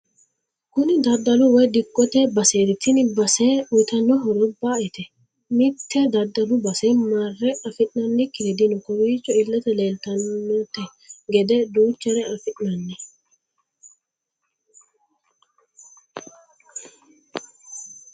Kunni daddalu woyi digote basseti tini basse uyiitano horro ba'ete mitte daddalu basse marre afinannikiri dino kowiicho illete leetanote gede duuchare afinanni.